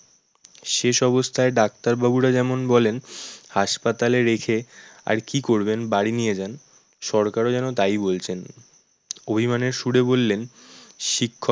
শেষ অবস্থায় ডাক্তার বাবুরা যেমন বলেন হাসপাতালে রেখে আর কি করবেন? বাড়ি নিয়ে যান। সরকারও যেন তাই বলছেন। অভিমানের সুরে বললেন শিক্ষক